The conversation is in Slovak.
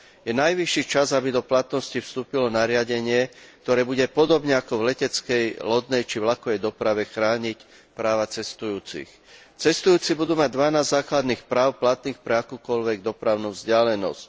Je najvyšší čas, aby do platnosti vstúpilo nariadenie, ktoré bude podobne ako v leteckej, lodnej či vlakovej doprave chrániť práva cestujúcich. Cestujúci budú mať 12 základných práv platných pre akúkoľvek dopravnú vzdialenosť.